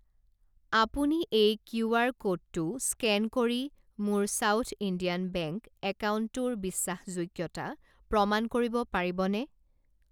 আপুনি এই কিউআৰ ক'ডটো স্কেন কৰি মোৰ সাউথ ইণ্ডিয়ান বেংক একাউণ্টটোৰ বিশ্বাসযোগ্যতা প্ৰমাণ কৰিব পাৰিবনে?